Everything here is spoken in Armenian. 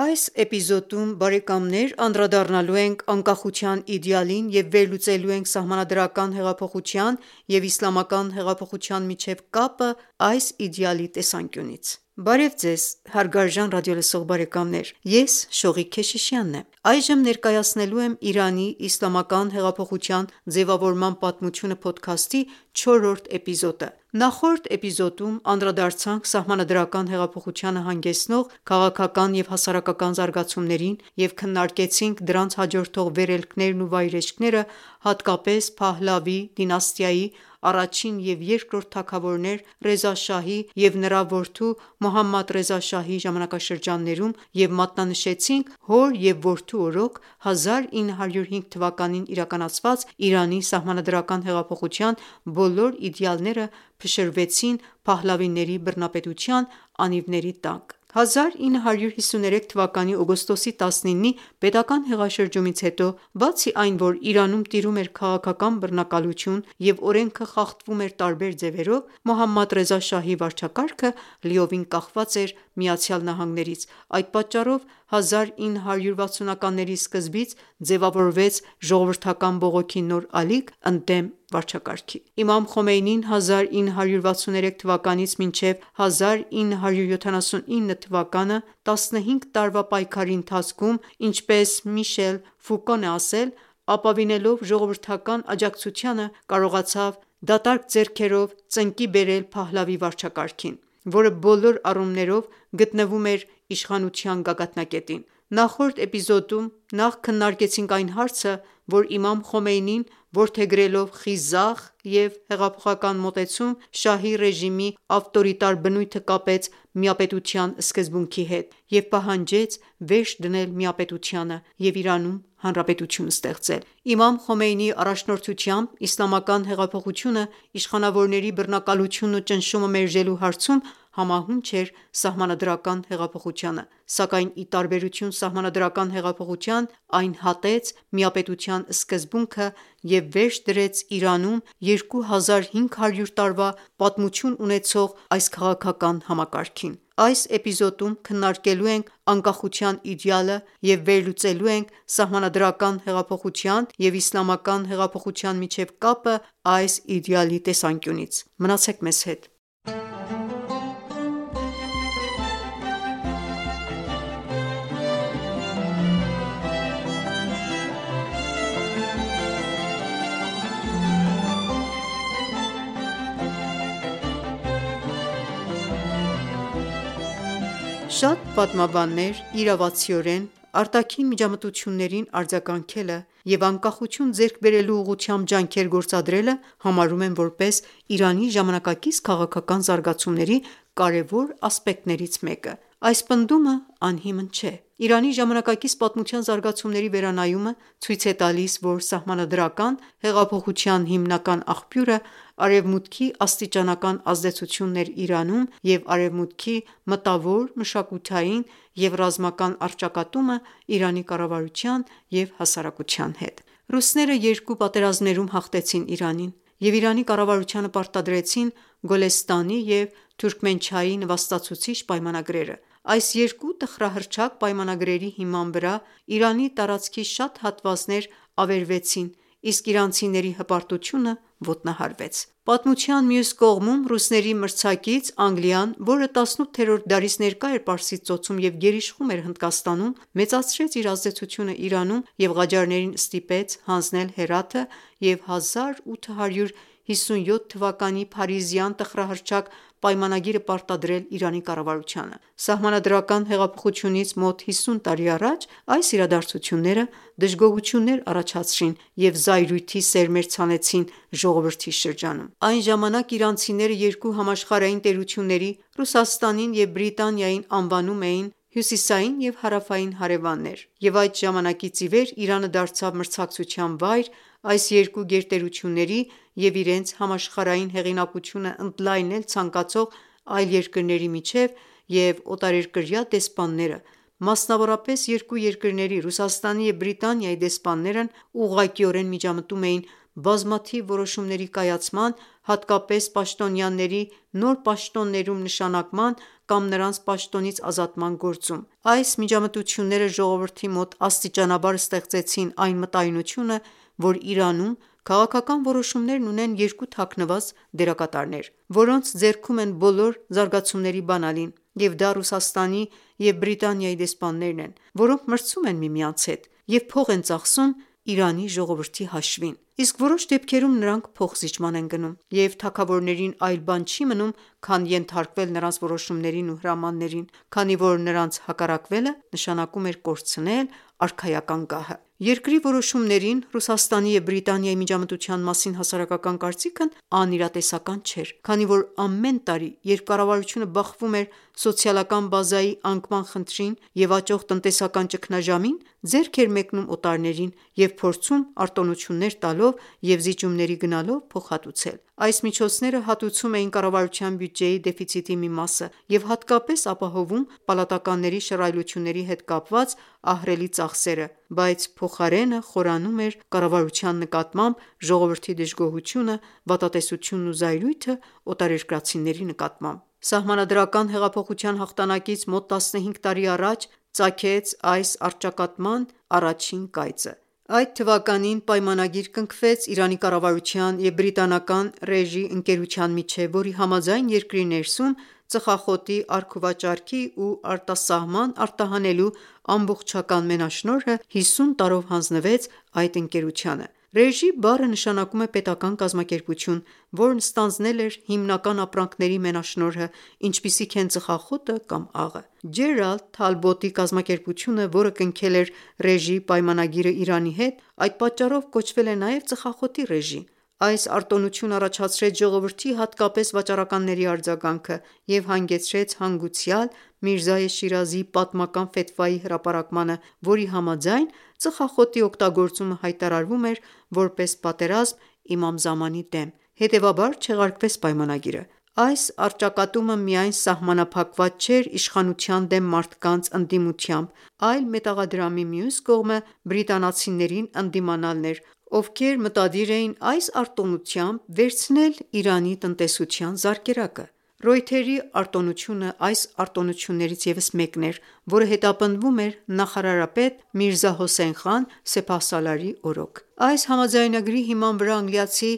Այս էպիզոդում անդրադառնալու ենք անկախության իդեալին և վերլուծելու ենք սահմանադրական հեղափոխության և իսլամական հեղափոխության միջև կապը այս իդեալի տեսանկյունից: Բարեւ Ձեզ, Ես Շողիկ Քեշիշյանն եմ։ Այժմ ներկայացնելու եմ «Իրանի իսլամական հեղափոխության ձևավորման պատմությունը» փոդքասթի չորրորդ էպիզոդը։ Նախորդ էպիզոդում անդրադարձանք սահմանադրական հեղափոխությանը հանգեցնող քաղաքական և հասարակական զարգացումներին և քննարկեցինք դրանց հաջորդող վերելքներն ու վայրէջքները, հատկապես Փահլավի դինաստիայի առաջին և երկրորդ թագավորներ՝Ռեզա շահի և նրա որդու Մոհամմադ Ռեզա շահի ժամանակաշրջաններում և մատնանշեցինք, որ հոր և որդու օրոք, 1905 թվականին իրականացված Իրանի սահմանադրական հեղափոխության բոլոր իդեալները փշրվեցին Փահլավիների բռնապետության անիվների տակ։ 1953 թվականի օգոստոսի 19-ի պետական հեղաշրջումից հետո, բացի այն, որ Իրանում տիրում էր քաղաքական բռնակալություն և օրենքը խախտվում էր տարբեր ձևերով, Մոհամմադ Ռեզա Շահի վարչակարգը լիովին կախված էր ԱՄՆ-ից, այդ պատճառով 1960-ականների սկզբից ձևավորվեց ժողովրդական բողոքի նոր ալիք ընդդեմ ռեժիմի։ Իմամ Խոմեյնին 1963 թ․-ից մինչև 1979 թ․ 15 տարվա պայքարի ընթացքում ինչպես Միշել Ֆուկոն է ասել՝ ապավինելով ժողովրդական աջակցությանը՝ կարողացավ ձեռնունայն ծնկի բերել Փահլավի վարչակարգին, որը բոլոր առումներով գտնվում էր իշխանության գագաթնակետին։ Նախորդ էպիզոդում նաև քննարկեցինք այն հարցը, որ Իմամ Խոմեյնին, որդեգրելով խիզախ և հեղափոխական մոտեցում, շահի ռեժիմի ավտորիտար բնույթը կապեց միապետության սկզբունքի հետ և պահանջեց վերջ դնել միապետությանը և Իրանում հանրապետություն ստեղծել։ Իմամ Խոմեյնիի առաջնորդությամբ իսլամական հեղափոխությունը իշխանավորների բռնակալությունն ու ճնշումը մերժելու հարցում համահունչ էր սահմանադրական հեղափոխությանը, սակայն, ի տարբերություն սահմանադրական հեղափոխության, այն հատեց միապետության սկզբունքը և վերջ դրեց Իրանում 2500 տարվա պատմություն ունեցող այս քաղաքական համակարգին: Այս էպիզոդում քննարկելու ենք անկախության իդեալը և վերլուծելու ենք սահմանադրական հեղափոխության և իսլամական հեղափոխության միջև կապը այս իդեալի տեսանկյունից: Մնացեք մեզ հետ։ Շատ պատմաբաններ իրավացիորեն «արտաքին միջամտություններին արձագանքելը» և «անկախություն ձեռք բերելու ուղղությամբ ջանքեր գործադրելը» համարում են, որպես Իրանի ժամանակակից քաղաքական զարգացումների կարևոր ասպեկտներից մեկը: Այս պնդումը անհիմն չէ։ Իրանի ժամանակակից պատմության զարգացումների վերանայումը ցույց է տալիս, որ սահմանադրական հեղափոխության հիմնական աղբյուրը Արևմուտքի աստիճանական ազդեցությունն էր Իրանում և Արևմուտքի մտավոր, մշակութային և ռազմական առճակատումը Իրանի կառավարության և հասարակության հետ: Ռուսները երկու պատերազմներում հաղթեցին Իրանին և Իրանի կառավարությանը պարտադրեցին Գոլեստանի և Թուրքմենչայի նվաստացուցիչ պայմանագրերը։ Այս երկու տխրահռչակ պայմանագրերի հիման վրա Իրանի տարածքի շատ հատվածներ ավերվեցին, իսկ իրանցիների հպարտությունը ոտնահարվեց։ Պատմության մյուս կողմում ռուսների մրցակից Անգլիան, որը 18-րդ դարից ներկա էր Պարսից ծոցում և գերիշխում էր Հնդկաստանում, մեծացրեց իր ազդեցությունն Իրանում և Ղաջարներին ստիպեց հանձնել Հերաթը և 1857 թվականի փարիզյան տխրահռչակ պայմանագիրը պարտադրել Իրանի կառավարությանը։ Սահմանադրական հեղափոխությունից մոտ հիսուն տարի առաջ այս իրադարձությունները դժգոհություններ առաջացրին և զայրույթի սերմեր ցանեցին ժողովրդի շրջանում։ Այն ժամանակ իրանցիները երկու համաշխարհային տերությունների՝ Ռուսաստանին և Բրիտանիային անվանում էին «Հյուսիսային և հարավային հարևաններ», և այդ ժամանակից ի վեր Իրանը դարձավ մրցակցության վայր այս երկու գերտերությունների և իրենց համաշխարհային հեղինակությունը ընդլայնել ցանկացող այլ երկրների միջև, և օտարերկրյա դեսպանները, մասնավորապես, երկու երկրների՝ Ռուսաստանի և Բրիտանիայի դեսպաններն ուղղակիորեն միջամտում էին բազմաթիվ որոշումների կայացման, հատկապես պաշտոնյաների նոր պաշտոններում նշանակման կամ նրանց պաշտոնից ազատման գործում։ Այս միջամտությունները ժողովրդի մոտ աստիճանաբար ստեղծեցին այն մտայնությունը, որ Իրանում քաղաքական որոշումներն ունեն երկու թաքնված դերակատարներ, որոնց ձեռքում են բոլոր զարգացումների բանալին, և դա Ռուսաստանի և Բրիտանիայի դեսպաններն են, որոնք մրցում են միմյանց հետ և փող են ծախսում Իրանի ժողովրդի հաշվին։ Իսկ որոշ դեպքերում նրանք փոխզիջման են գնում, և թագավորներին այլ բան չի մնում, քան ենթարկվել նրանց որոշումներին ու հրամաններին, քանի որ նրանց հակառակվելը նշանակում էր կորցնել արքայական գահը։ Երկրի որոշումներին Ռուսաստանի և Բրիտանիայի միջամտության մասին հասարակական կարծիքն անիրատեսական չէր, քանի որ ամեն տարի, երբ կառավարությունը բախվում էր սոցիալական բազայի անկման խնդրին և աճող տնտեսական ճգնաժամին, ձեռք էր մեկնում օտարներին և փորձում արտոններություններ տալով և զիջումների գնալով փոխհատուցել։ Այս միջոցները հատուցում էին կառավարության բյուջեի դեֆիցիտի մի մասը և հատկապես ապահովում պալատականների շռայլությունների հետ կապված ահռելի ծախսերը, բայց փոխարենը խորանում էր կառավարության նկատմամբ ժողովրդի դժգոհությունը, վատատեսությունն ու զայրույթը օտարերկրացիների նկատմամբ։ Սահմանադրական հեղափոխության հաղթանակից մոտ տասնհինգ տարի առաջ ծագեց այս առճակատման առաջին կայծը։ Այդ թվականին պայմանագիր կնքվեց Իրանի կառավարության և բրիտանական Ռեժի ընկերության միջև, որի համաձայն՝ երկրի ներսում ծխախոտի առքուվաճառքի ու արտասահման արտահանելու ամբողջական մենաշնորհը հիսուն տարով հանձնվեց այդ ընկերությանը։«Regie» բառը նշանակում է պետական կազմակերպություն, որն ստանձնել էր հիմնական ապրանքների մենաշնորհը, ինչպիսիք են ծխախոտը կամ աղը: Ջերալդ Թալբոտի կազմակերպությունը, որը կնքել է Ռեժիի պայմանագիրը Իրանի հետ, այդ պատճառով կոչվել է նաեւ Ծխախոտի Ռեժի։ Այս արտոնությունը առաջացրեց ժողովրդի, հատկապես վաճառականների արձագանքը և հանգեցրեց հանգուցյալ Միրզայե Շիրազիի պատմական ֆեթվայի հրապարակմանը, որի համաձայն՝ ծխախոտի օգտագործումը հայտարարվում էր որպես պատերազմ Իմամ Զամանի դեմ, հետևաբար չեղարկվեց պայմանագիրը։ Այս առճակատումը միայն սահմանափակված չէր իշխանության դեմ մարդկանց ընդդիմությամբ, այլ մետաղադրամի մյուս կողմը բրիտանացիներին ընդդիմանալն էր, ովքեր մտադիր էին այս արտոնությամբ վերցնել Իրանի տնտեսության զարկերակը: Ռոյթերի արտոնությունը այս արտոնություններից ևս մեկն էր, որը հետապնդվում էր նախարարապետ՝ Միրզա Հոսեյն Խան Սեփահսալարի օրոք։ Այս համաձայնագրի հիման վրա անգլիացի